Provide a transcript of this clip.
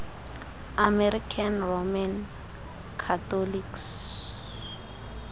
american roman catholics